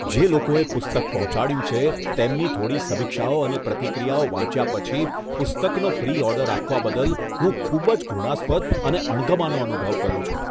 જે લોકોએ પુસ્તક પહોંચાડ્યું છે, તેમની થોડી સમીક્ષાઓ અને પ્રતિક્રિયાઓ વાંચ્યા પછી પુસ્તકનો પ્રી ઓર્ડર આપવા બદલ હું ખૂબ જ ઘૃણાસ્પદ અને અણગમાનો અનુભવ કરું છું.